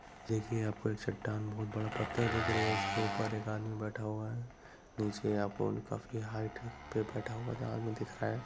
देखिए आपको एक चट्टान बहुत बड़ा पत्थर देख रहे हो इसके ऊपर एक आदमी बैठा हुआ है नीचे आपको काफी हाइट पे बैठा हुआ जो आदमी दिख रहा है।